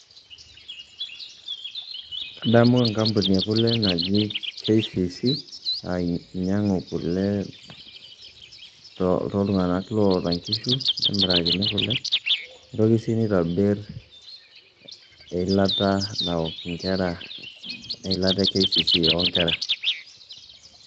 Kadamu enkampuni e kule naji KCC naa inyang'u kule toltung'anak loata nkishu nemirakini kule, nitoki sii nitobir eilata naok inkera eilata e KCC o nkera.